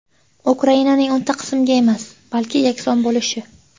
Ukrainaning o‘nta qismga emas, balki yakson bo‘lishi.